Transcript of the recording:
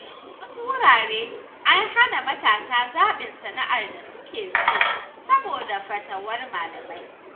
A wasu wurare, an hana matasa zaɓin sana’ar da suke so saboda fatawar malamai.